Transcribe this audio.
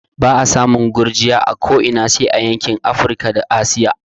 Ba'a samun gurgiya a ko ina sai a yankin Afrika da Asiya